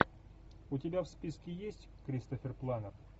у тебя в списке есть кристофер пламмер